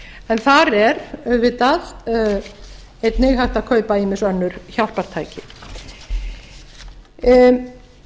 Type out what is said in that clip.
en þar er auðvitað einnig hægt að kaupa ýmis önnur hjálpartæki það verður